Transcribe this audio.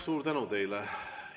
Suur tänu teile!